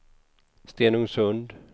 Stenungsund